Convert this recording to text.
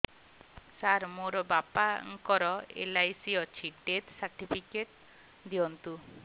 ସାର ମୋର ବାପା ଙ୍କର ଏଲ.ଆଇ.ସି ଅଛି ଡେଥ ସର୍ଟିଫିକେଟ ଦିଅନ୍ତୁ